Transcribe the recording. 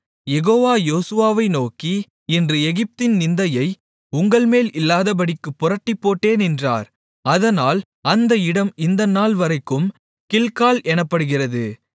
யெகோவா யோசுவாவை நோக்கி இன்று எகிப்தின் நிந்தையை உங்கள்மேல் இல்லாதபடிக்குப் புரட்டிப்போட்டேன் என்றார் அதனால் அந்த இடம் இந்த நாள்வரைக்கும் கில்கால் எனப்படுகிறது